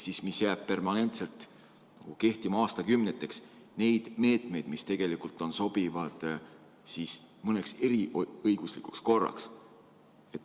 See ju jääb permanentselt kehtima aastakümneteks, kuigi need meetmed tegelikult sobivad mõneks eriõiguslikuks korraks.